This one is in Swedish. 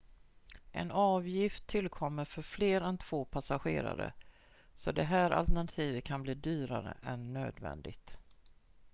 en avgift tillkommer för fler än 2 passagerare så det här alternativet kan bli dyrare än nödvändigt